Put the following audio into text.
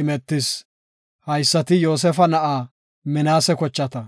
imetis. Haysati Yoosefa na7aa Minaase kochata.